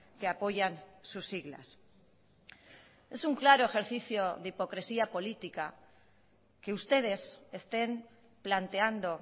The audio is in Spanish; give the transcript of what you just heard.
que apoyan sus siglas es un claro ejercicio de hipocresía política que ustedes estén planteando